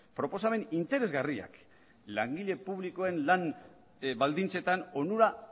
proposamen interesgarriak langile publikoen lan baldintzetan onura